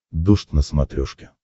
дождь на смотрешке